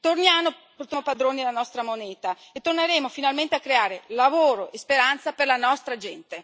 Torniamo padroni della nostra moneta e torneremo finalmente a creare lavoro e speranza per la nostra gente.